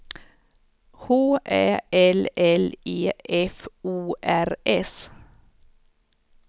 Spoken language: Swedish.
H Ä L L E F O R S